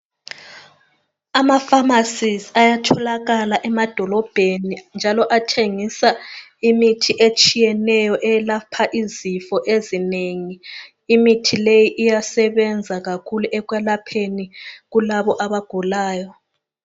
Amafamasizi ayatholakala emadolobheni njalo athengisa imithi etshiyeneyo eyelapha izifo ezinengi. Imithi leyi iyasebenza kakhulu ekwelapheni kulabo abagulayo.